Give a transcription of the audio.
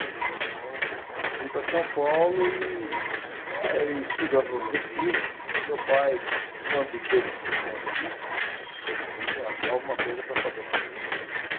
Então, vim para São Paulo e eh e estudando no Objetivo, meu pai, quando teve esse problema político, teve que achar alguma coisa para fazer na vida.